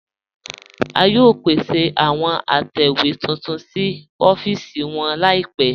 A yóò pèsè àwọn àtẹwe tuntun sí ọ̀fíìsì wọn laípẹ̀.